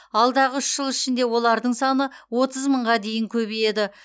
алдағы үш жыл ішінде олардың саны отыз мыңға дейін көбейеді